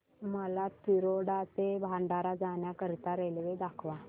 मला तिरोडा ते भंडारा जाण्या करीता रेल्वे दाखवा